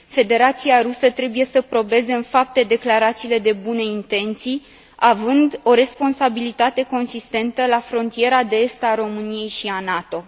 Federația Rusă trebuie să probeze în fapte declarațiile de bune intenții, având o responsabilitate consistentă la frontiera de est a României și a NATO.